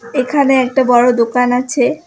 এখানে একটা বড়ো দোকান আছে।